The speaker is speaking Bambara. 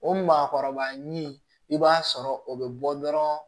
O maakɔrɔba ni i b'a sɔrɔ o be bɔ dɔrɔn